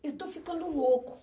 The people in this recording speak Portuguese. Eu estou ficando louco.